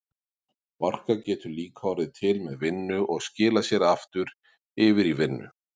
Orka getur líka orðið til með vinnu og skilað sér aftur yfir í vinnu.